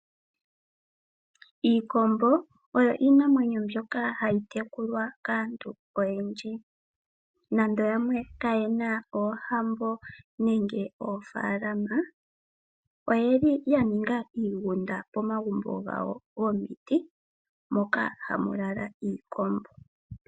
Iikombo oyo iinamwenyo mbyoka hayi tekulwa kaantu oyendji, nando yamwe kayena oohambo nenge oofaalama, oyeli ya ninga iigunda pomagumbo gawo gomiti moka hamu lala iikombo.